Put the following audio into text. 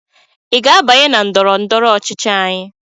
ị ga-abanye na ndọrọ ndọrọ ọchịchị anyị?